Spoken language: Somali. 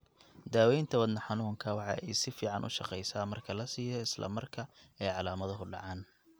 Daawaynta wadna xanuunka waxa ay si fiican u shaqaysaa marka la siiyo isla marka ay calaamaduhu dhacaan.